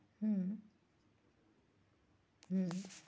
হম হম